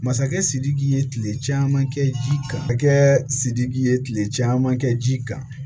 Masakɛ sidiki ye kile caman kɛ ji kan a kɛ sidiki ye kile caman kɛ ji kan